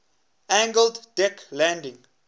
angled deck landing